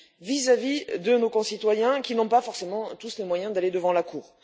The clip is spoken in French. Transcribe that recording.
vis à vis de nos concitoyens qui n'ont pas tous forcément les moyens d'aller devant la Cour.